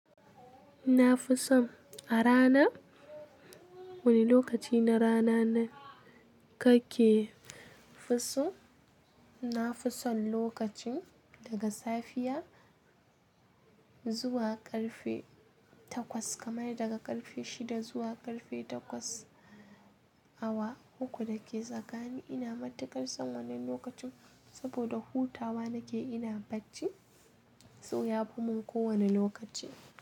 Nafi son a rana. Wani lokaci na rana kake fiso? Na fi son lokacin daga safiya zuwa ƙarfe takwas, kamar daga ƙarfe shida zuwa ƙarfe takwas. Awa uku da ke tsagani ina matuƙar son wannan lokacin saboda hutawa nake ina bacci. So yafi mun ko wane lokaci.